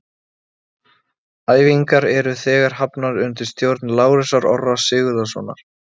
Æfingar eru þegar hafnar undir stjórn Lárusar Orra Sigurðssonar.